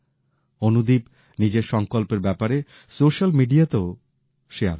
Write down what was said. অনুদীপ নিজের সংকল্পের ব্যাপারে সোশ্যাল মিডিয়াতেও শেয়ার করলেন